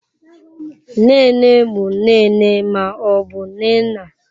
Nne nne bụ nne nne ma ọ bụ nne nna.